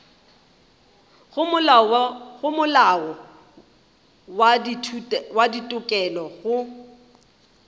go molao wa ditokelo go